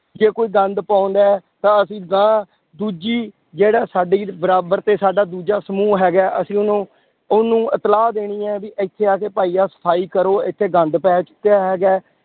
ਜੇ ਕੋਈ ਗੰਦ ਪਾਉਂਦਾ ਹੈ ਤਾਂ ਅਸੀਂ ਅਗਾਂਹ ਦੂਜੀ ਜਿਹੜਾ ਸਾਡੀ ਬਰਾਬਰ ਤੇ ਸਾਡਾ ਦੂਜਾ ਸਮੂਹ ਹੈਗਾ ਹੈ, ਅਸੀਂ ਉਹਨੂੰ ਉਹਨੂੰ ਇਤਲਾਹ ਦੇਣੀ ਹੈ ਵੀ ਇੱਥੇ ਆ ਕੇ ਭਾਈ ਆਹ ਸਫ਼ਾਈ ਕਰੋ ਇੱਥੇ ਗੰਦ ਪੈ ਚੁੱਕਿਆ ਹੈਗਾ ਹੈ,